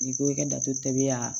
N'i ko i ka datɛbi y'a